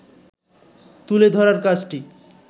তুলে ধরার কাজটি